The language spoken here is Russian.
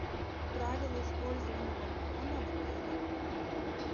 правила использования балкона в отеле